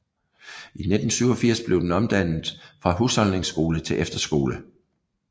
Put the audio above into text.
I 1987 blev den omdannet fra husholdningsskole til efterskole